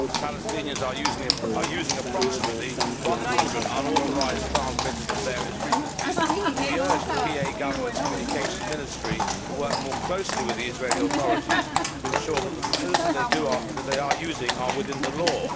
Palestinians are using approximately 100 unauthorised transmitters on various frequencies and we urge the PA Government's Communications Ministry to work more closely with the Israeli authorities to ensure that the facilities that they are using are within the law.